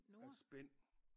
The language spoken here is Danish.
Et spænd